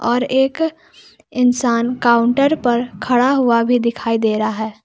और एक इंसान काउंटर पर खड़ा हुआ भी दिखाई दे रहा है।